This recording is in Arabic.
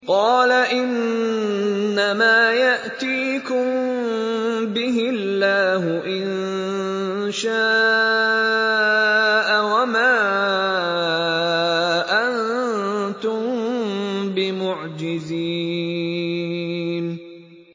قَالَ إِنَّمَا يَأْتِيكُم بِهِ اللَّهُ إِن شَاءَ وَمَا أَنتُم بِمُعْجِزِينَ